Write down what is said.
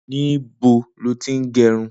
Nibó ló ti n gẹrún?